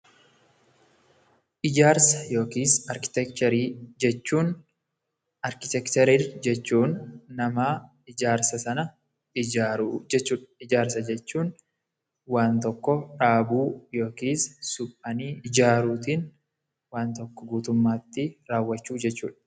Ijaarsa yookiis arkitekcherii jechuun, arkitekcherii jechuun nama ijaarsa sana ijaaru jechuu dha. Ijaarsa jechuun waan tokko dhaabuu yookiis suphanii ijaaruutiin waan tokko guutummaatti raawwachuu jechuu dha.